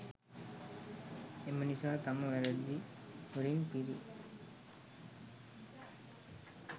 එම නිසා තම වැරදි වලින් පිරි